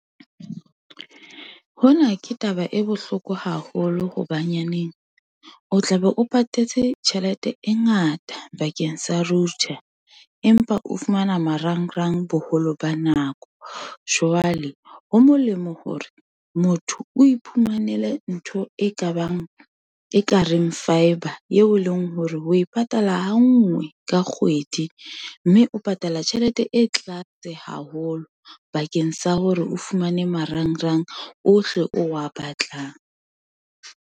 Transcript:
Hona ke taba e bohloko haholo hobanyaneng, o tla be o patetse tjhelete e ngata bakeng sa router, empa o fumana marangrang boholo ba nako. Jwale ho molemo hore, motho o iphumanele ntho e kabang ekareng fibre, yeo e leng hore o e patala ha ngwe ka kgwedi, mme o patala tjhelete e tlase haholo, bakeng sa hore o fumane marangrang ohle o wa batlang.